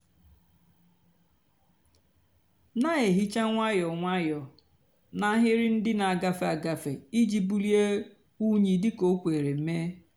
nà-èhicha nwayọọ nwayọọ nà n'áhịrị ndị nà-àgafe agafe íjì bulie unyi dị kà ó kwere mée.